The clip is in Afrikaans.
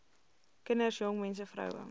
kinders jongmense vroue